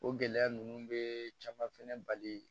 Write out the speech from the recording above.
O gɛlɛya ninnu be caman fɛnɛ bali